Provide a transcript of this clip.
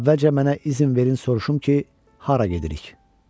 Əvvəlcə mənə izin verin soruşum ki, hara gedirik.